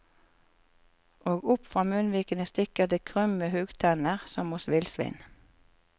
Og opp fra munnvikene stikker det krumme huggtenner, som hos villsvin.